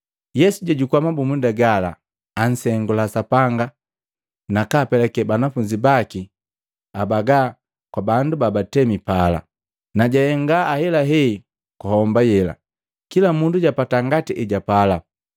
Yesu jajukua mabumunda gala, ansengula Sapanga, nakapeke banafunzi baki abaga kwa bandu babatemi pala. Najahenga ahelahe kwa homba yela, kila mundu japata ngati ejapala.